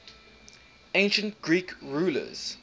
ancient greek rulers